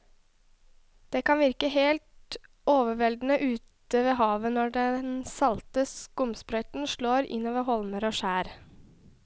Det kan virke helt overveldende ute ved havet når den salte skumsprøyten slår innover holmer og skjær.